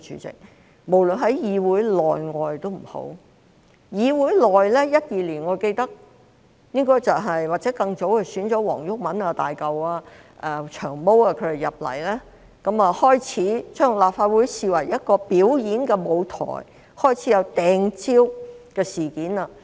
在議會內，我記得2012年或更早期，便選了黃毓民、"大嚿"和"長毛"進入議會，他們把立法會視為一個表演舞台，開始出現"掟蕉"事件。